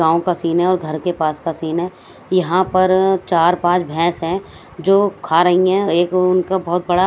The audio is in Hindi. गांव का सीन है और घर के पास का सीन है यहां पर चार पांच भैंस है जो खा रही है एक उनका बहुत बड़ा--